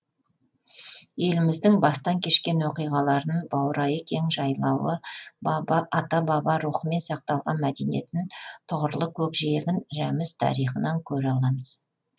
еліміздің бастан кешкен оқиғаларын баурайы кең жайлауы ата баба рухымен сақталған мәдениетін тұғырлы көкжиегін рәміз тарихынан көре аламыз